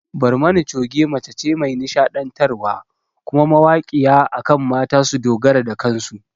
Barmani Choge mace ce mai nishaɗantar wa kuma mawaƙiya akan mata su dogara da kansu